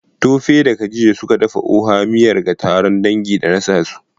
Tope da Khadija, suka dafa Oha miyar ga taron dangi. da nasa su